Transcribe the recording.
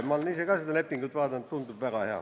Ma olen ise seda lepingut vaadanud, tundub olevat väga hea.